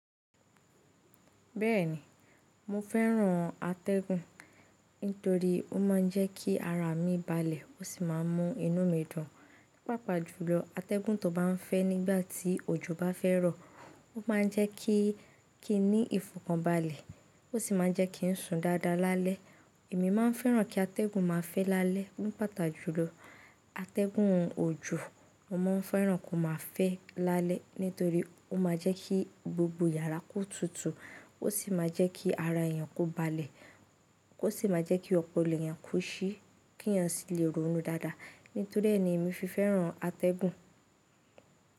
Bẹ́ẹ̀ni, mo fẹ́ran atẹ́gun nítorí ó ma ń jẹ́ kí ara mi balẹ̀ ó sì má a mú inú mi dun. Pàápàá jùlọ, atẹ́gun tó bá ń fẹ́ nígbà tí òjò bá fẹ́ ro, ó ma ń jẹ́ kí kí n ní ìfọ̀kànbalẹ̀ ó sì má a jẹ́ kí ń sùn dáadáa lálẹ́. Èmi máa n fẹ́ràn kí atẹ́gun máa fẹ́ lálẹ́. Ní pàtàjùlọ, atẹ́gun òjò mo máa n fẹ́ràn kó má a fẹ́ lálẹ́ nítorí ó má a jẹ́ kí gbogbo yàrá kó tutù ó sì má a jẹ́ kí ara èèyàn kó balẹ̀ ó sì má a jẹ́ kí ọpọlọ èèyàn kó ṣí kèèyàn sì lè rọ̀nú dáadáa. Nítorí è ní èmi fi fẹ́ràn atẹ́gun.